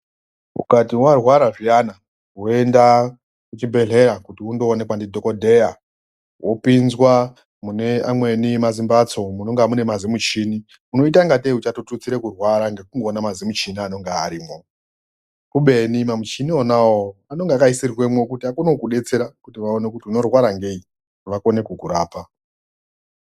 ukati warwara zviyana woenda kuchibhedhleya kuti undoonekwa ndidhokodheya wopinzwa mune amweni mazimbatso munonga mune mazimuchina unoita nde uchandotutsira kurwara ndokuda kwekuona mazimuchina anonga arimo kubeni muchina unawo unange akaisirwemo kuti andokubetsera kuti aone kuti unorwara ngei vawane kukurapa